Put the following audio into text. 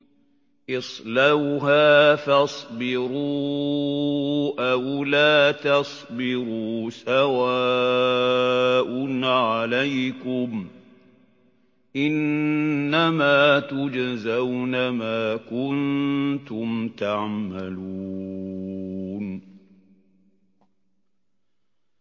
اصْلَوْهَا فَاصْبِرُوا أَوْ لَا تَصْبِرُوا سَوَاءٌ عَلَيْكُمْ ۖ إِنَّمَا تُجْزَوْنَ مَا كُنتُمْ تَعْمَلُونَ